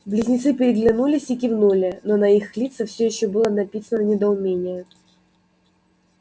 близнецы переглянулись и кивнули но на их лицах всё ещё было написано недоумение